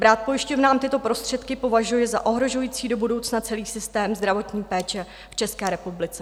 Brát pojišťovnám tyto prostředky považuji za ohrožující do budoucna celý systém zdravotní péče v České republice.